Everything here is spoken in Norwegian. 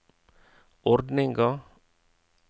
ordninga